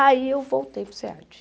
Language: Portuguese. Aí eu voltei para o SEAD.